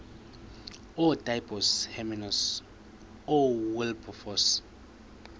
ootaaibos hermanus oowilberforce